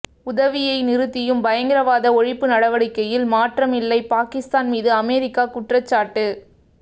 உதவியை நிறுத்தியும் பயங்கரவாத ஒழிப்பு நடவடிக்கையில் மாற்றம் இல்லை பாகிஸ்தான் மீது அமெரிக்கா குற்றச்சாட்டு